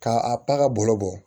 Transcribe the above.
K'a a ka bolo bɔ